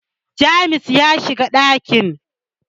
James ya shiga dakin